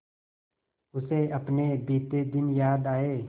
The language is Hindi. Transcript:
उसे अपने बीते दिन याद आए